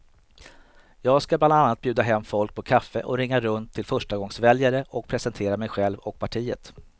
Jag ska bland annat bjuda hem folk på kaffe och ringa runt till förstagångsväljare och presentera mig själv och partiet.